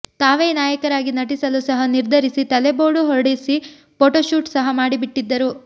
ತಾವೇ ನಾಯಕರಾಗಿ ನಟಿಸಲು ಸಹ ನಿರ್ಧರಿಸಿ ತಲೆ ಬೋಡು ಹೊಡೆಸಿ ಫೋಟೋ ಶೂಟ್ ಸಹ ಮಾಡಿಬಿಟ್ಟಿದ್ದರು